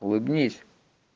улыбнись